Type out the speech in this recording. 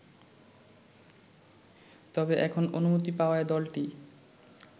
তবে, এখন অনুমতি পাওয়ায় দলটি